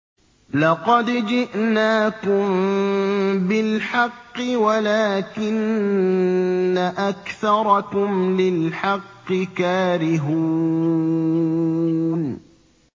لَقَدْ جِئْنَاكُم بِالْحَقِّ وَلَٰكِنَّ أَكْثَرَكُمْ لِلْحَقِّ كَارِهُونَ